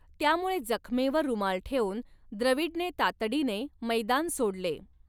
त्यामुळे जखमेवर रुमाल ठेवून द्रविडने तातडीने मैदान सोडले.